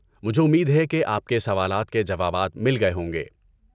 مجھے امید ہے کہ آپ کے سوالات کے جوابات مل گئے ہوں گے۔